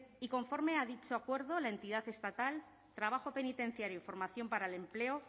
y conforme a dicho acuerdo la entidad estatal trabajo penitenciario y formación para el empleo